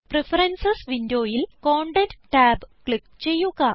preferences വിൻഡോയിൽ content tab click ചെയ്യുക